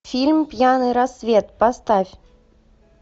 фильм пьяный рассвет поставь